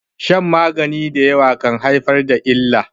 shan magani da yawa kan haifar da illa